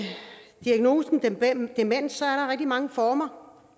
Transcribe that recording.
diagnosen demens er rigtig mange former